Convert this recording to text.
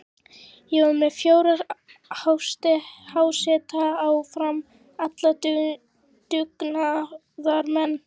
Ég var með fjóra háseta á Fram, allt dugnaðarmenn.